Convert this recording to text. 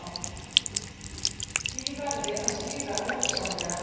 Því verði að stýra röggsamlega